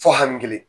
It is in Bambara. Fɔ hami kelen